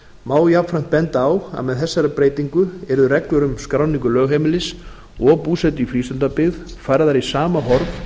má jafnframt benda á að með þessari breytingu yrðu reglur um skráningu lögheimilis og búsetu í frístundabyggð færðar í sama horf